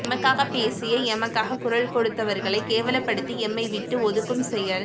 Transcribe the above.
எமக்காக பேசிய எமக்காக குரல் கொடுத்தவர்களை கேவலப்படுத்தி எம்மைவிட்டு ஒதுக்கும் செயல்